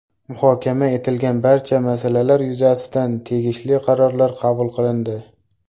Muhokama etilgan barcha masalalar yuzasidan tegishli qarorlar qabul qilindi.